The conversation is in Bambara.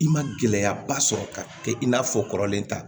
I ma gɛlɛyaba sɔrɔ ka kɛ i n'a fɔ kɔrɔlen ta